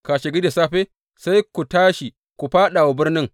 Kashegari da safe, sai ku tashi ku fāɗa wa birnin.